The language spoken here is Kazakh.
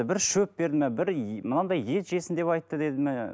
бір шөп берді ме бір мынадай ет жесін деп айтты деді ме